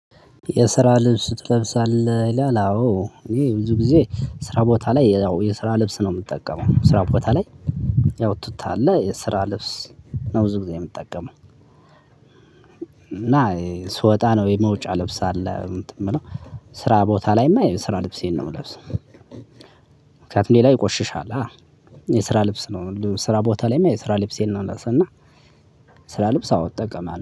የስራ ልብስ ትለብሳለህ ይላል አዎ እኔ ብዙ ጊዜ ስራ ቦታ ላይ ያው የስራ ልብስ ነው የምጠቀመው ስራ ቦታ ላይ ያው ትተሃለ የስራ ልብስ ነው ብዙ ጊዜ የምጠቀመው። እና ስወጣ ነው የመውጫ ልብስ አለ እንትን የምለው ስራ ቦታ ላይማ የስራ ልብሴን ነው የምለብሰው። ምክንያቱም ሌላ ይቆሽሻላ። የስራ ልብስ ነው ስራ ቦታ ላይማ የስራ ልብሴን ነው የምለብሰው እና ስራ ልብስ አዎ እጠቀማለሁ